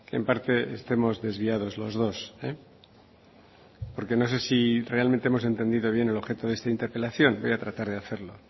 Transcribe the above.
en parte estemos desviados los dos porque no sé si realmente hemos entendido bien el objeto de esta interpelación voy a tratar de hacerlo